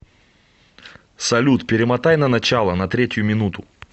салют перемотай на начало на третью минуту